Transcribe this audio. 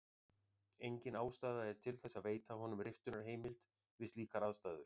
Engin ástæða er til þess að veita honum riftunarheimild við slíkar aðstæður.